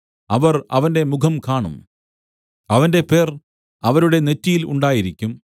അവർ അവന്റെ മുഖംകാണും അവന്റെ പേർ അവരുടെ നെറ്റിയിൽ ഉണ്ടായിരിക്കും